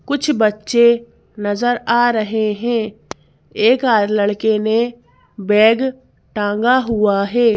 कुछ बच्चे नजर आ रहे हैं एक आद लड़के ने बैग टांगा हुआ है।